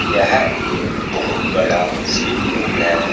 यह एक बहुत बड़ा स्विमिंग पूल है।